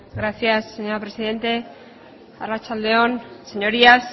gracias señora presidente arratsalde on señorías